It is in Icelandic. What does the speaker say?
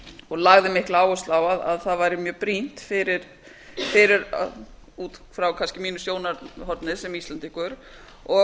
og lagði mikla áherslu á að það væri mjög brýnt fyrir út frá kannski mínu sjónarhorni sem íslendingur og